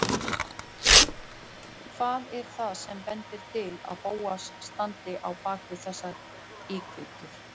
Hvað er það sem bendir til að Bóas standi á bak við þessar íkveikjur?